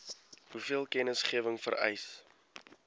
hoeveel kennisgewing vereis